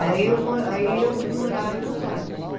Aí eu mo aí eu vim morar em Osasco.